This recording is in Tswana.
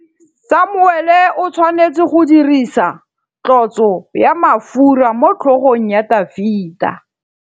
Samuele o tshwanetse go dirisa tlotsô ya mafura motlhôgong ya Dafita.